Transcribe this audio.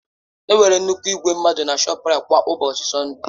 Enwere nnukwu igwe mmadụ na ShọpRait kwa ụbọchị Sọnde.